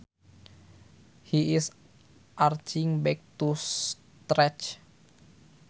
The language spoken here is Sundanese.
He is arching back to stretch